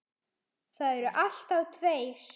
Það eru alltaf tveir